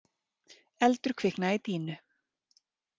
Eldur kviknaði í dýnu